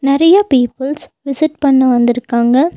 நறையா peoples visit பண்ண வந்திருக்காங்க.